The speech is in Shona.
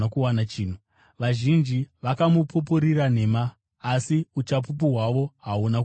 Vazhinji vakamupupurira nhema, asi uchapupu hwavo hahuna kupindirana.